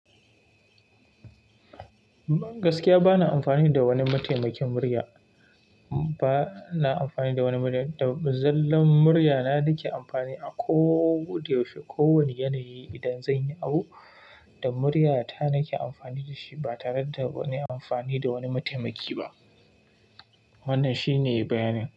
Gaskiya bana amfani da wani mataimakin murya. Bana amfani da wani murya, zallan murya na nake amfani a ko de yaushe, kowane yanayi idan zan yi abu da murya ta nake amfani da shi ba tare da wani amfani da wani mataimaki ba. Wannan shine bayanin.